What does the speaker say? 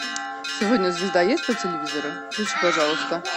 сегодня звезда есть по телевизору включи пожалуйста